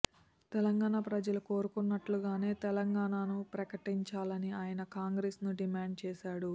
తెలంగాణ ప్రజలు కోరుకున్నట్లుగానే తెలంగాణను ప్రకటించాలని ఆయన కాంగ్రెస్ ను డిమాండ్ చేశాడు